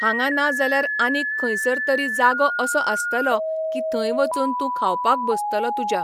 हांगा ना जाल्यार आनीक खंयसर तरी जागो असो आसतलो की थंय वचून तूं खावपाक बसतलो तुज्या.